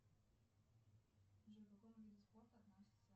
джой к какому виду спорта относится